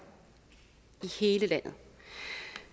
i hele landet